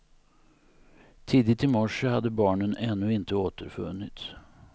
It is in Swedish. Tidigt i morse hade barnen ännu inte återfunnits.